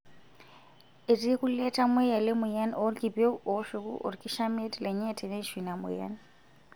Etii kulie tamoyia lemoyian oolkipieu ooshuku olkishamiet lenye teneishu ina moyian.